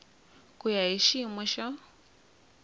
ku ya hi xiyimo xa